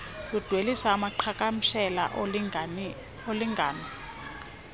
ludwelisa amaqhagamshela olingano